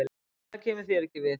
Það kemur þér ekki við.